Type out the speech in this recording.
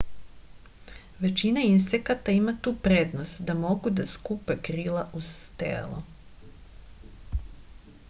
većina insekata ima tu prednost da mogu da skupe krila uz telo